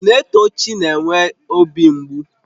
Naetochi na-enwe obi mgbu